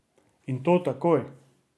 In to takoj!